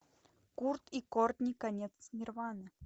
курт и кортни конец нирваны